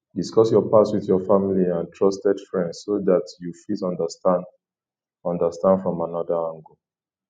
discuss your past with your family and trusted friends so dat you fit understand understand from anoda angle